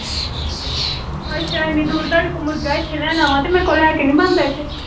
ਅੱਛਾ ਏਨੀ ਦੂਰ ਤੁਹਾਡੇ ਕੋ ਮੁਰਗਾ ਇਥੇ ਲੈਣ ਆਵਾਂ ਤੇ ਮੇਰੇ ਕੋ ਲੈ ਕ ਨਹੀਂ ਬਣਦਾ ਇਥੇ।